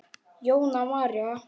Jóna María.